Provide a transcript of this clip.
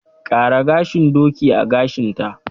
Ƙara gashin doki a gashinta!